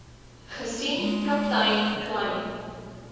gesien kaptein kleyn